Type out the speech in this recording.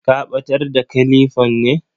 Ka batar da kilifan ne?